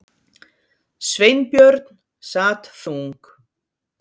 Sveinbjörn sat þung